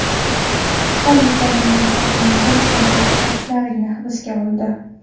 Politsiya namoyishlarning bir qancha ishtirokchilarini hibsga oldi.